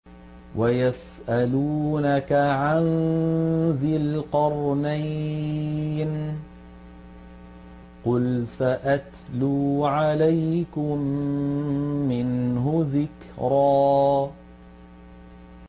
وَيَسْأَلُونَكَ عَن ذِي الْقَرْنَيْنِ ۖ قُلْ سَأَتْلُو عَلَيْكُم مِّنْهُ ذِكْرًا